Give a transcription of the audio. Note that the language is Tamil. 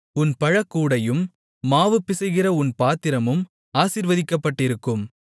உன் பழ கூடையும் மாவு பிசைகிற உன் பாத்திரமும் ஆசீர்வதிக்கப்பட்டிருக்கும்